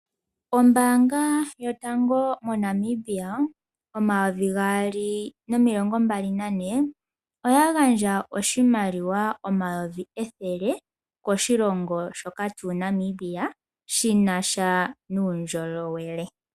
Ombaanga yotango moNamibia mo2024 oya gandja oshimaliwa N$100000.00 koshilongo shoka Namibia shina sha nuundjolowele.